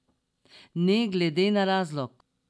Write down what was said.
Ne glede na razlog!